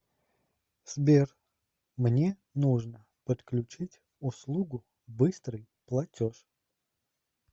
сбер мне нужно подключить услугу быстрый платеж